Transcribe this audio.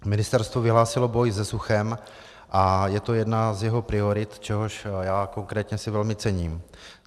Ministerstvo vyhlásilo boj se suchem a je to jedna z jeho priorit, čehož já konkrétně si velmi cením.